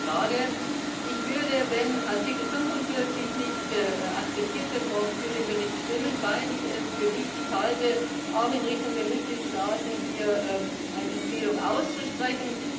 Danke für die Frage. Ich würde, wenn Artikel 45 nicht akzeptiert wird, morgen für den Bericht stimmen, weil ich es für wichtig halte, auch in Richtung der Mitgliedstaaten hier eine Empfehlung auszusprechen.